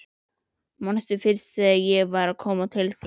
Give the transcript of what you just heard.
Manstu fyrst þegar ég var að koma til þín?